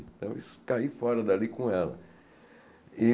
Então eu caí fora dali com ela. E